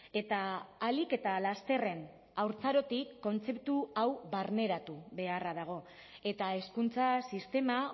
eta ahalik eta lasterren haurtzarotik kontzeptu hau barneratu beharra dago eta hezkuntza sistema